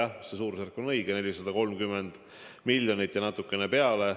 Minu teada on seda natukene rohkem, 430 miljonit, aga suurusjärk on õige.